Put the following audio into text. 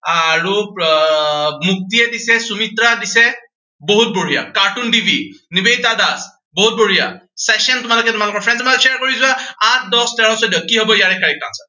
আৰু আহ মুক্তিয়ে দিছে, সুমিত্ৰা দিছে, বহুত বঢ়িয়া, কাৰ্টুন টিভি, নিবেদিতা দাস, বহুত বঢ়িয়া session তোমালোকে তোমালোকৰ friends ৰ মাজত share কৰি যোৱা। আঠ দহ তেৰ চৈধ্য, কি হব ইয়াৰে correct answer